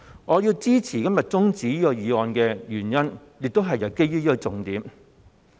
我要支持今天中止待續議案的原因，亦都是基於這個重點。